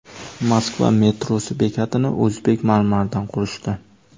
Moskva metrosi bekatini o‘zbek marmaridan qurishdi.